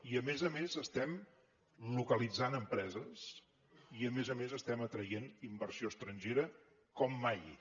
i a més a més estem localitzant empreses i a més a més estem atraient inversió estrangera com mai